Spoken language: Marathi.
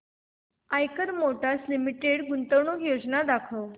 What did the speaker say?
आईकर मोटर्स लिमिटेड गुंतवणूक योजना दाखव